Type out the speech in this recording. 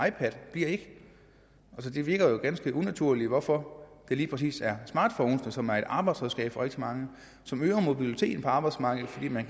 ipad bliver ikke det virker ganske unaturligt hvorfor det lige præcis er smartphones som er et arbejdsredskab for rigtig mange som øger mobiliteten på arbejdsmarkedet fordi man